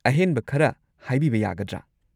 ꯑꯍꯦꯟꯕ ꯈꯔ ꯍꯥꯏꯕꯤꯕ ꯌꯥꯒꯗ꯭ꯔꯥ?